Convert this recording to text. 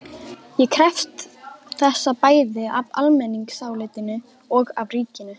Ég krefst þessa bæði af almenningsálitinu og af ríkinu.